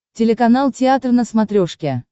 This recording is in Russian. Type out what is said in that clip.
телеканал театр на смотрешке